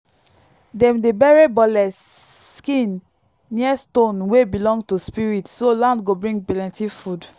dem dey bury bole skin near stone wey belong to spirits so land go bring plenty food.